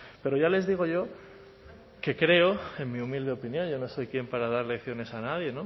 pero ya les digo yo que creo en mi humilde opinión yo no soy quién para dar lecciones a nadie